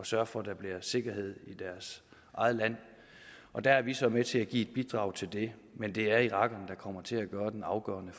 sørge for at der bliver sikkerhed i deres eget land og der er vi så med til at give et bidrag til det men det er irakerne der kommer til at gøre den afgørende